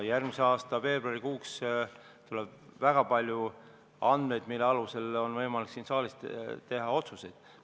Järgmise aasta veebruariks tuleb väga palju andmeid, mille alusel on võimalik siin saalis otsuseid teha.